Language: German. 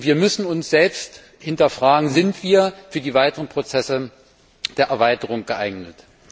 Wir müssen uns selbst hinterfragen Sind wir für die weiteren Prozesse der Erweiterung geeignet?